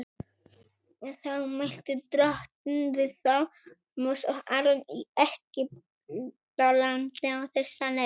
Þá mælti Drottinn við þá Móse og Aron í Egyptalandi á þessa leið:.